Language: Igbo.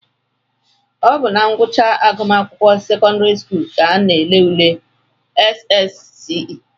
Ọ bụ na ngwụcha agụmakwụkwọ sekọndịrị skuulu ka a na-ele ule SSCE